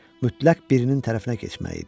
Mütləq birinin tərəfinə keçməli idim.